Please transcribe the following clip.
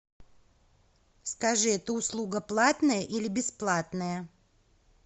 скажи эта услуга платная или бесплатная